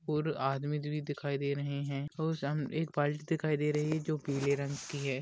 और आदमी दिखाई रहे है और सामने एक बाल्टी दिखाई दे रही है जो पीले रंग की है।